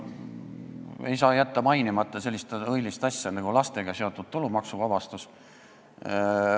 Ei saa jätta mainimata sellist õilist asja nagu lastega seotud tulumaksuvabastus.